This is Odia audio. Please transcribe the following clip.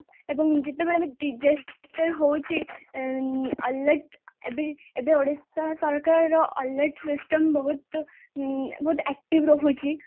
em ଯେତେବେଳେ ଅମ୍ disaster ହଉଛି ଅମ୍ alert ଏବେ ଏବେ ଓଡ଼ିଶା ସରକାରର alertness ଟା ବହୁତ ଅମ୍ ବହୁତ active ରହୁଛି